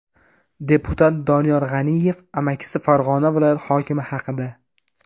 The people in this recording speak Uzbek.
Deputat Doniyor G‘aniyev amakisi Farg‘ona viloyati hokimi haqida.